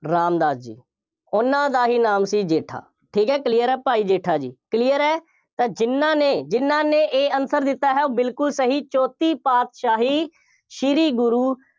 ਰਾਮਦਾਸ ਜੀ, ਉਹਨਾ ਦਾ ਹੀ ਨਾਮ ਸੀ, ਜੇਠਾ, ਠੀਕ ਹੈ, clear ਹੈ, ਭਾਈ ਜੇਠਾ ਜੀ, clear ਹੈ, ਤਾਂ ਜਿੰਨ੍ਹਾ ਨੇ, ਜਿੰਨ੍ਹਾ ਨੇ A answer ਦਿੱਤਾ ਹੈ, ਉਹ ਬਿਲਕੁੱਲ ਸਹੀ, ਚੌਥੀ ਪਾਤਸ਼ਾਹੀ, ਸ਼੍ਰੀ ਗੁਰੂ